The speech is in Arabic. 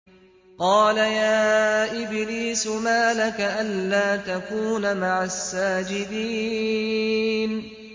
قَالَ يَا إِبْلِيسُ مَا لَكَ أَلَّا تَكُونَ مَعَ السَّاجِدِينَ